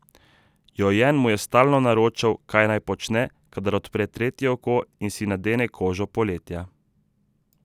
Jojen mu je stalno naročal, kaj naj počne, kadar odpre tretje oko in si nadene kožo Poletja.